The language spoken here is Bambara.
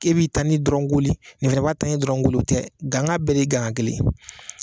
K'e b'i tani dɔrɔn koli nin fɛnɛ b'a ta in dɔrɔn koli o tɛ, ganga bɛɛ de gangan kelen.